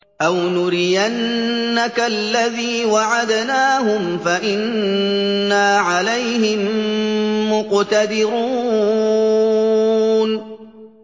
أَوْ نُرِيَنَّكَ الَّذِي وَعَدْنَاهُمْ فَإِنَّا عَلَيْهِم مُّقْتَدِرُونَ